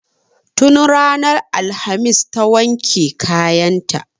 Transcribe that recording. Tun ranar alhamis ta wanke kayan ta